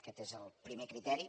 aquest és el primer criteri